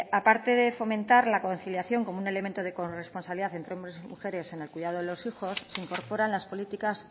a parte de fomentar la conciliación como un elemento de corresponsabilidad entre hombres y mujeres en el cuidado de los hijos se incorporan las políticas